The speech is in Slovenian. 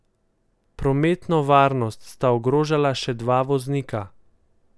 Prometno varnost sta ogrožala še dva voznika.